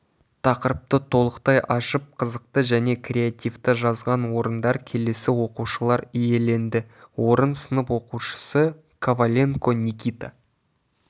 тақырыпты толықтай ашып қызықты және креативті жазған орындар келесі оқушылар иеленді орын сынып оқушысы коваленко никита